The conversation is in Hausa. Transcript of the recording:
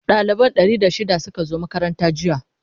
dalibai Ɗari da shida Suka zo makaranta jiya